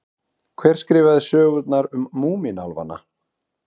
Hver skrifaði sögurnar um Múmínálfana?